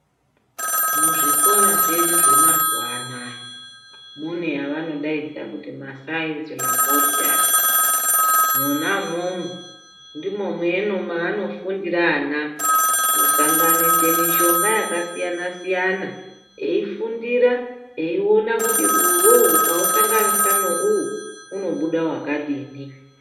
Muzvikora zvenyu zvemazuva anaya mune yavanodaidza kuti masainzi rabhoritari. Mona umomo, ndimo maanofundira ana kusanganise mishonga yakasiyana-siyana, eifundira eiona kuti uwowo ukausanganisa neuwu, unobuda wakadini.